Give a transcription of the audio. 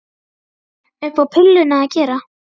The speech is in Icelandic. Upp á pilluna að gera.